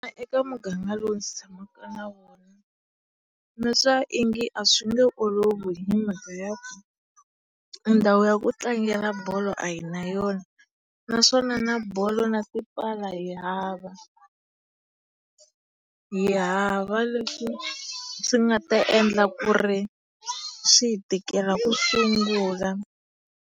Eka muganga lowu ndzi tshamaka eka wona, nitwa onge a swi nge olovi ki mhaka ya ku ndhawu ya ku tlangela bolo a hi na yona naswona na bolo na tipala hi hava. Hi hava leswi swi nga ta endla ku ri swi hi tikela ku sungula.